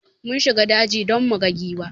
Mun shiga daji don muga giwa